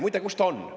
Muide, kus ta on?